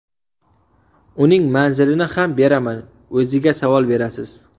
Uning manzilini ham beraman, o‘ziga savol berasiz.